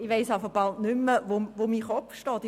Ich weiss echt nicht mehr, wo mir der Kopf steht.